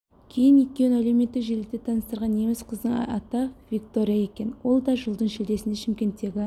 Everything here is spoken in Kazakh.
кейін екеуін әлеуметтік желіде таныстырған неміс қыздың аты виктория екен ол да жылдың шілдесінде шымкенттегі